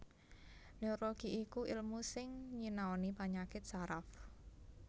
Neurologi iku èlmu sing nyinaoni panyakit saraf